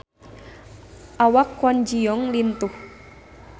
Awak Kwon Ji Yong lintuh